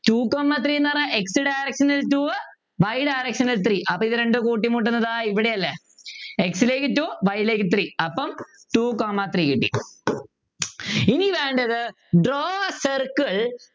Two comma three ന്നു പറഞ്ഞാ x direction ൽ two y direction three അപ്പോ ഇതുരണ്ടും കൂട്ടിമുട്ടുന്നത് ദാ ഇവിടെയല്ലേ x ലേക്ക് two y ലേക്ക് three അപ്പൊ Two comma three കിട്ടി ഇനി വേണ്ടത് Draw a circle